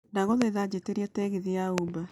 ndagũthaitha njĩtiĩria tegithi ya uber